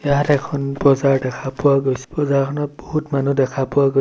ইয়াত এখন বজাৰ দেখা পোৱা গৈছে বজাৰখনত বহুত মানুহ দেখা পোৱা গৈ--